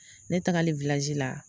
Ne tagali la